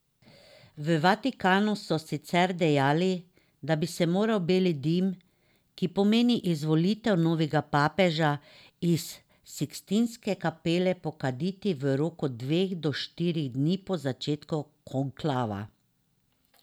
V Vatikanu so sicer dejali, da bi se moral beli dim, ki pomeni izvolitev novega papeža, iz Sikstinske kapele pokaditi v roku dveh do štirih dni po začetku konklava.